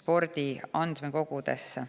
spordi andmekogudesse.